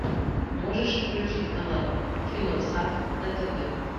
можешь включить канал киносад на тв